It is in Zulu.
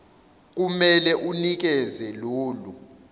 kumele unikeze lolu